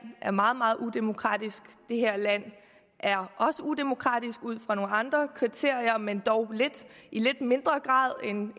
er meget meget udemokratisk det her land er også udemokratisk ud fra nogle andre kriterier men dog i lidt mindre grad